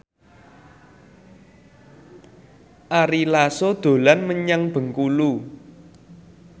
Ari Lasso dolan menyang Bengkulu